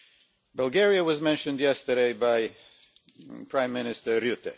Bulgaria was mentioned yesterday by Prime Minister Rutte